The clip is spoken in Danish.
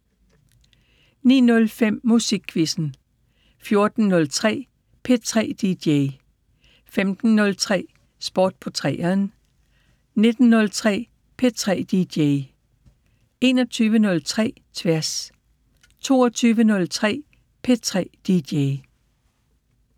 09:05: Musikquizzen 14:03: P3 DJ 15:03: Sport på 3'eren 19:03: P3 DJ 21:03: Tværs 22:03: P3 DJ